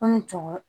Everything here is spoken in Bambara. Ni cɛw